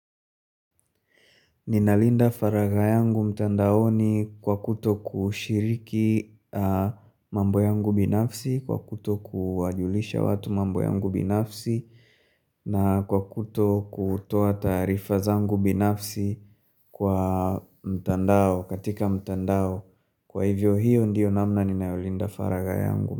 Ninalinda faraghayangu mtandaoni kwa kuto kushiriki mambo yangu binafsi, kwa kuto kuwajulisha watu mambo yangu binafsi, na kwa kuto kutoa taarifa zangu binafsi kwa mtandao, katika mtandao. Kwa hivyo hiyo ndiyo namna ninayolinda faragha yangu.